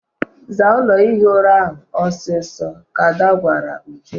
Zaa ụlọ ihi ura ahụ ọsọ ọsọ! ka Ada gwara Uju.